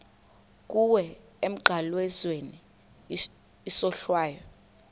kuwe emnqamlezweni isohlwayo